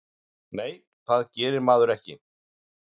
Nei, það gerir maður ekki.